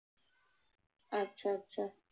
আচ্ছা, আচ্ছা।